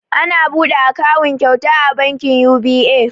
Ana buɗe akawun kyauta a bankin yubi'e